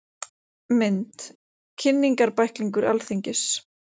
Mynd: Kynningarbæklingur Alþingis.